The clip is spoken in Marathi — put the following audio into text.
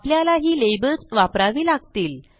आपल्याला ही लेबल्स वापरावी लागतील